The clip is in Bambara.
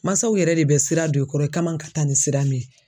Mansaw yɛrɛ de bɛ sira don i kɔrɔ i ka man ka taa ni sira min ye.